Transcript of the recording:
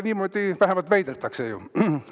Niimoodi vähemalt väidetakse ju.